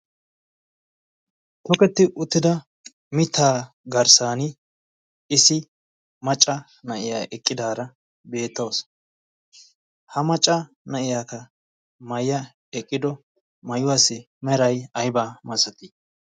toketti uttida mitaa garssan issi macca na'iyaa eqqidaara beettoos ha macca na'iyaaka maayiya eqqido maayuwaassi meray aybaa massatii